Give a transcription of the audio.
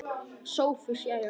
SOPHUS: Jæja!